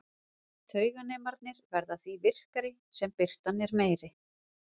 Tauganemarnir verða því virkari sem birtan er meiri.